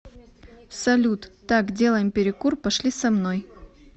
салют так делаем перекур пошли со мной